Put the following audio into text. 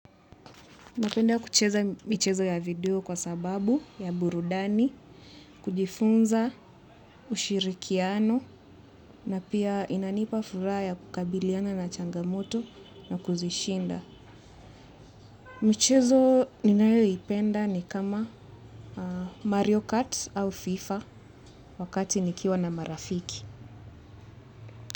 Napenda kucheza michezo ya video kwa sababu ya burudani, kujifunza, ushirikiano na pia inanipa furaha ya kukabiliana na changamoto na kuzishinda. Michezo ninayo ipenda ni kama Mario Kart au FIFA wakati nikiwa na marafiki.